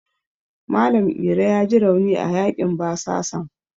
Malam Iro yaji rauni a yaƙin basasan.